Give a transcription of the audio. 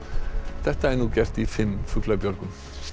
þetta er nú gert í fimm fuglabjörgum